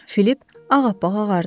Filip ağappaq ağardı.